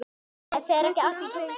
Fer ekki allt í hringi?